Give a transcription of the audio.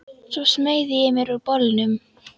Svo smeygði ég mér úr bolnum.